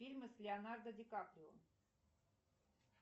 фильмы с леонардо ди каприо